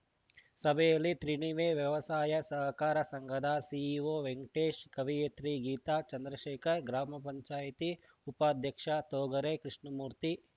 ಸಭೆಯಲ್ಲಿ ತ್ರಿಣಿವೆ ವ್ಯವಸಾಯ ಸಹಕಾರ ಸಂಘದ ಸಿಇಒ ವೆಂಕಟೇಶ್‌ ಕವಿಯತ್ರಿ ಗೀತಾ ಚಂದ್ರಶೇಖರ್‌ ಗ್ರಾಮ ಪಂಚಾಯಿತಿ ಉಪಾಧ್ಯಕ್ಷ ತೊಗರೆ ಕೃಷ್ಣಮೂರ್ತಿ